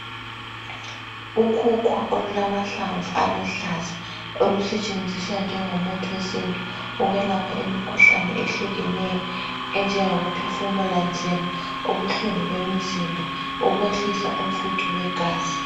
Ukhukhu olulamahlamvu aluhlaza lusetshenziswa njengo muthi wesintu ukwelapha imikhuhlane ehlukeneyo enjengokuphefumula nzima ubuhlungu bemizimba ukwehlisa umfutho wegazi